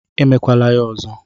I mekwala ya ọzọ!